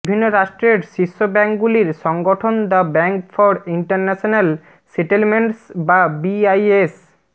বিভিন্ন রাষ্ট্রের শীর্ষ ব্যাঙ্কগুলির সংগঠন the Bank for International Settlements বা বিআইএস